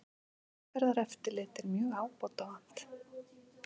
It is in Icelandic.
Umferðareftirlit er mjög ábótavant